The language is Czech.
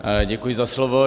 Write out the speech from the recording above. Děkuji za slovo.